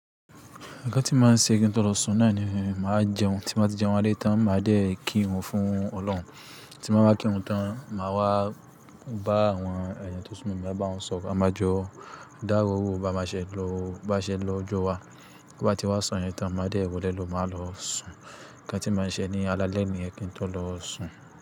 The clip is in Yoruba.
Nǹkan tí màá ṣe kí n tó lọ sùn náà ni màá jẹun, tí mo bá ti jẹun alé tan màá dé kírun fún Ọlọ́run. Tí mo bá wa kírun tán, màá wá bá àwọn èèyàn tó súnmọ́ mi, màá bá wọn sọ̀rọ̀. A máa jọ dáro owó bá máa ṣẹ lọ́jọ́ wa. Bí ó bá ti wá so yẹn tán, màá dé wole ló máa lọ sùn. Nǹkan tí màá ṣe ní alaalẹ́ niyen kí n tó lọ sùn.